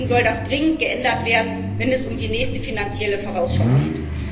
Deswegen soll das dringend geändert werden, wenn es um die nächste finanzielle Vorausschau geht.